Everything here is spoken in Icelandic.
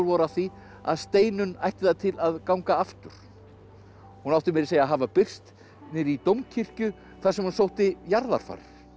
af því að Steinunn ætti það til að ganga aftur hún átti meira að segja að hafa birst niðri í dómkirkju þar sem hún sótti jarðarfarir